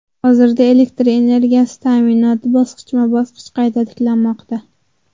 Hozirda elektr energiyasi ta’minoti bosqichma-bosqich qayta tiklanmoqda.